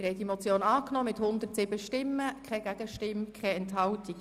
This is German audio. Sie haben die Motion angenommen mit 107 Ja-Stimmen, ohne Gegenstimmen und Enthaltungen.